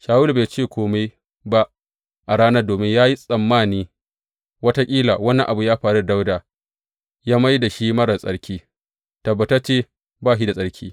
Shawulu bai ce kome ba a ranar domin ya yi tsammani wataƙila wani abu ya faru da Dawuda ya mai da shi marar tsarki, tabbatacce ba shi da tsarki.